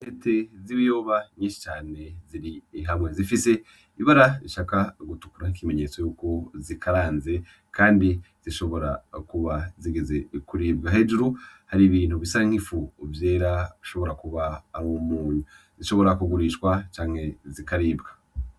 Intete z'ibiyoba nyinshi cane ziri hamwe, zifise ibara rishaka gutukura, ikimenyetso y'uko zikaranze kandi zishobora kuba zigeze kuribwa. Hejuru hari ibintu bisa nk'ifu vyera bishobora kuba ari umunyu. Zishobora kugurishwa canke zikaribwa.